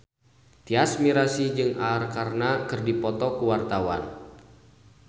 Tyas Mirasih jeung Arkarna keur dipoto ku wartawan